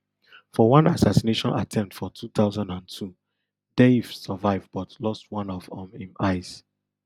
for one assassination attempt for two thousand and two deif survive but lost one of um im eyes